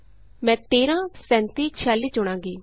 ਮੈਂ 13 37 46 ਚੁਣਾਂਗੀ